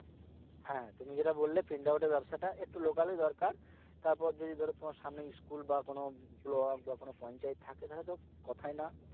হ্যাঁ তুমি যেটা বললে print out এর ব্যবসাটা একটু local ই দরকার, তারপর যদি ধরো তোমার সামনে school বা কোন block বা কোন পঞ্চায়েত থাকে তাহলে তো কথাই না